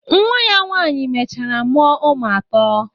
Nwa ya nwaanyị mechara mụọ ụmụ atọ.